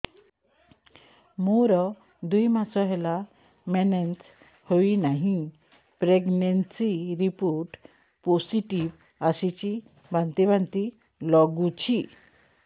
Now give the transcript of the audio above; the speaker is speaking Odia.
ମୋର ଦୁଇ ମାସ ହେଲା ମେନ୍ସେସ ହୋଇନାହିଁ ପ୍ରେଗନେନସି ରିପୋର୍ଟ ପୋସିଟିଭ ଆସିଛି ବାନ୍ତି ବାନ୍ତି ଲଗୁଛି